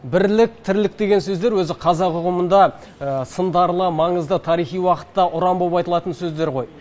бірлік тірлік деген сөздер өзі қазақ ұғымында сындарлы маңызды тарихи уақытта ұран болып айтылатын сөздер ғой